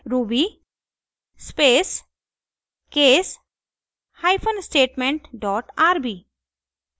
ruby space case hyphen statement dot rb